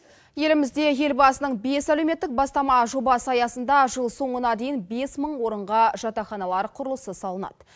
елімізде елбасының бес әлеуметтік бастама жобасы аясында жыл соңына дейін бес мың орынға жатақханалар құрылысы салынады